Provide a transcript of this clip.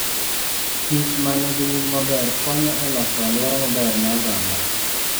kich ma nigi nying maber konyo e loso alwora maber ne oganda.